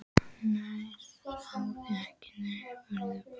Nei, segðu ekki neitt, farðu bara.